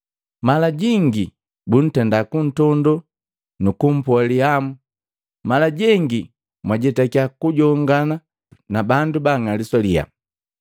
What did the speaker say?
Mala jingi buntenda kuntondo nu kumpoa lihamu; mala jengi mwajetakia kujongana na bandu ba bang'aliswa liyaa.